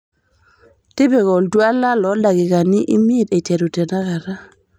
tipika oltuala looldaikikani imiet eiteru tenakata